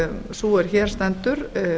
sú er hér stendur